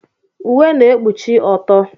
Uwe na-ekpuchi ọtọ.